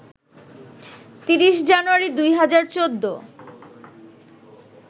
৩০ জানুয়ারি, ২০১৪